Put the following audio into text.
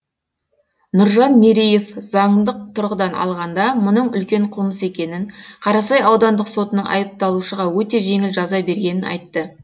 нұржан мереев заңдық тұрғыдан алғанда мұның үлкен қылмыс екенін қарасай аудандық сотының айыпталушыға өте жеңіл жаза бергенін айтты